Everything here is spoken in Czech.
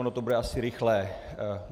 Ono to bude asi rychlé.